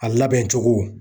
A labɛn cogo